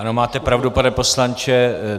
Ano, máte pravdu, pane poslanče.